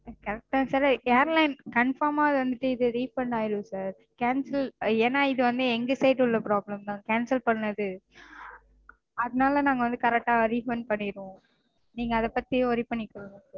Correct -தா sir airline confirm -ஆ அது வந்துட்டு இது refund ஆயிரும் sir. ஏன்னா இது எங்க side உள்ள problem -தா cancel பண்ணது. அதனால நாங்க வந்து correct -ஆ refund பண்ணிருவோம். நீங்க அத பத்தி worry பண்ணிக்காதீங்க